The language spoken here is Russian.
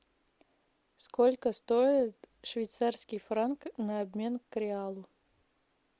сколько стоит швейцарский франк на обмен к реалу